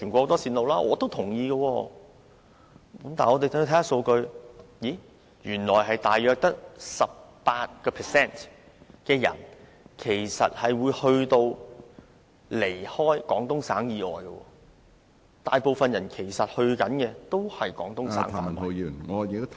但是，我們看一看數據，原來大約只有 18% 的人會離開廣東省以外，大部分的目的地都是廣東省......